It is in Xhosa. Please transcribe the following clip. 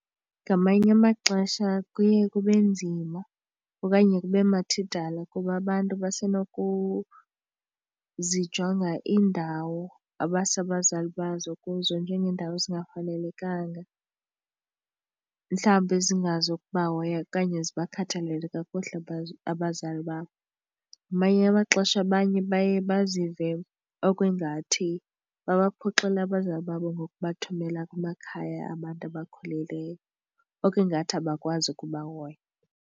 Ngamanye amaxesha kuye kube nzima okanye kube mathidala kuba abantu basenokuzijonga iindawo abasa abazali bazo kuzo njengeendawo ezingafanelekanga. Mhlawumbi ezingazukubahoya okanye zibakhathalele kakuhle abazali babo. Ngamanye amaxesha abanye baye bazive okungathi babaphoxile abazali babo ngokubathumela kumakhaya abantu abakhulileyo okungathi abakwazi ukubahoya.